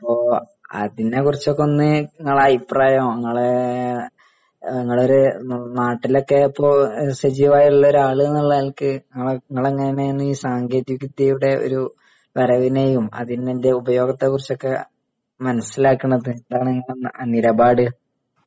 ഓ. അതിനെക്കുറിച്ചൊക്കെ ഒന്ന് നിങ്ങള് അഭിപ്രായങ്ങള് നിങ്ങലൊരു നാട്ടിലൊക്കെയിപ്പോ സജീവായുള്ള ഒരാളെന്ന നിലയ്ക്ക് നിങ്ങളെങ്ങനെ ഈ സാങ്കേതിക വിദ്യയുടെ ഒരു വരവിനെയും അതിൻ്റെ ഉപയോഗത്തെക്കുറിച്ചൊക്കെ മനസ്സിലാക്കുന്നതെന്താണ് .. നിലപാട്